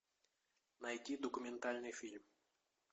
найти документальный фильм